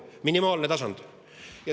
Minimaalne tasand.